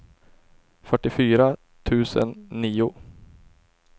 fyrtiofyra tusen nio